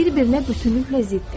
Bunlar bir-birinə bütünüklə ziddir.